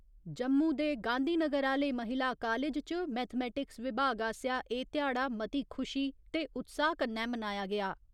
जम्मू दे गांधीनगर आह्‌ले महिला कालेज च, मैथेमैटिक्स विभाग आसेआ एह् ध्याड़ा मती खुशी ते उत्साह कन्नै मनाया गेआ।